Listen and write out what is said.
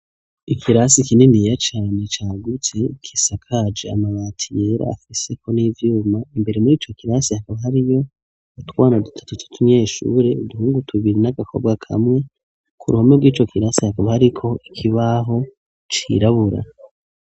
Ikirasi kininiya cane cagutse gisakaje amabati yera afiseko n'ivyuma, imbere muri ico kirasi hakaba hariyo utwana dutatu tw'utunyeshure, uduhungu tubiri n'agakobwa kamwe, ku ruhome rw'ico kirasi hakaba hariko ikibaho cirabura.